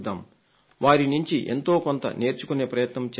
వారి నుండి ఎంతో కొంత నేర్చుకునే ప్రయత్నం చేద్దాం